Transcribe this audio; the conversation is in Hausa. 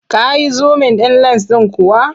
Ka yi zumin ɗin lens ɗin kuwa?